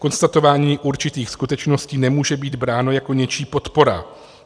Konstatování určitých skutečností nemůže být bráno jako něčí podpora.